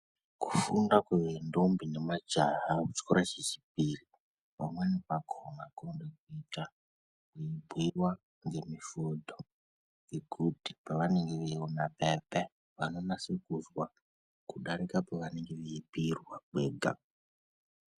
Kufunda kwendombi nemajaha kuchikora chechipiri pamweni pakona kunoda kitwa kweyibhuyiwa ngemifodho nekuti pavanenge veyiona paya paya vanenge veyinaso kuzwa kudarika pavanenge veyibhuyirwa pega.